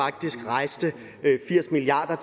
faktisk rejste firs milliard